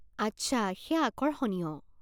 আচ্ছা, সেইয়া আকৰ্ষণীয়।